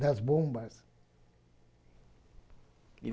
das bombas. E